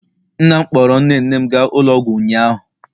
nna m kpọọrọ nne nne m gaa ụlọ ọgwụ ụnyaahụ